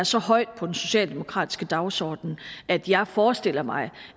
så højt på den socialdemokratiske dagsorden at jeg forestiller mig